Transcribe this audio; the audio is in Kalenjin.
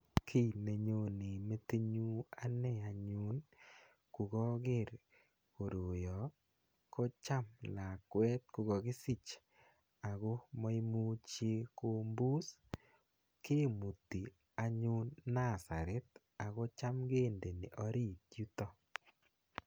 Ki nenyone metitnyu ane anyun ko kaker koroya ko cham lakwet ko kakisich ako maimuchi kopuus kimuti anyun nursery ako cham kindei oriit yutok.